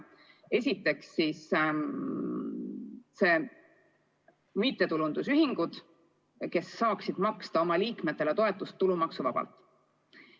Esiteks, mittetulundusühingud saaksid maksta oma liikmetele toetust tulumaksuvabalt.